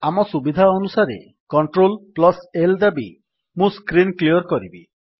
ଆମ ସୁବିଧା ଅନୁସାରେ CltL ଦାବି ମୁଁ ସ୍କ୍ରୀନ୍ କ୍ଲିଅର୍ କରିବି